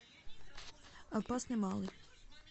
опасный малый